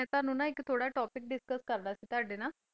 ਮੈਂ ਤੁਹਾਨੂੰ ਨਾ ਇੱਕ ਥੋਡਾ ਟੌਪਿਕ ਡਿਸਕਸ ਕਰਨਾ ਸੀ ਤੁਹਾਡੇ ਨਾਲ।